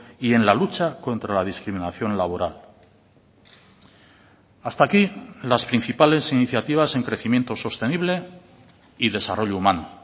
y en la lucha contra la discriminación laboral hasta aquí las principales iniciativas en crecimiento sostenible y desarrollo humano